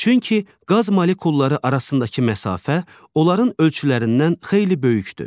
Çünki qaz molekulları arasındakı məsafə onların ölçülərindən xeyli böyükdür.